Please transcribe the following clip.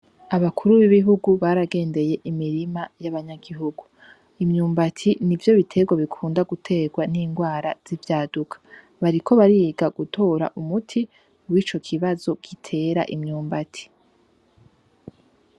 Abakuru b’ibihugu baragendeye imirima y’abanyagihugu, imyumbati nivyo biterwa bikunda guterwa n’indwara z’ivyaduka, bariko bariga gutora umuti w’ico kibazo gitera imyumbati.